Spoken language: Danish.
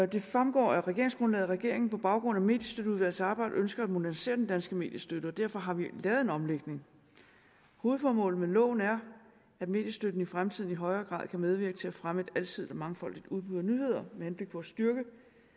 det fremgår af regeringsgrundlaget at regeringen på baggrund af mediestøtteudvalgets arbejde ønsker at modernisere den danske mediestøtte og derfor har vi lavet en omlægning hovedformålet med loven er at mediestøtten i fremtiden i højere grad kan medvirke til at fremme et alsidigt og mangfoldigt udbud af nyheder med henblik på at styrke